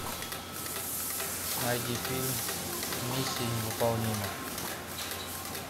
найди фильм миссия невыполнима